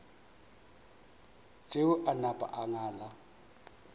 tšeo a napa a ngala